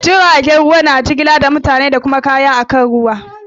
Jiragen ruwa na jigilar mutane da kuma kaya akan ruwa.